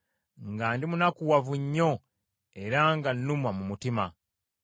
nga ndimunakuwavu nnyo era nga nnumwa mu mutima.